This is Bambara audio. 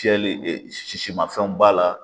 Cɛ sisimafɛnw b'a la